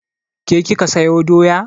Ke kika sayo doya?